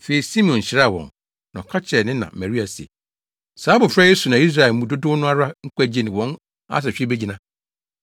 Afei Simeon hyiraa wɔn na ɔka kyerɛɛ ne na Maria se, “Saa abofra yi so na Israelfo mu dodow no ara nkwagye ne wɔn asehwe begyina.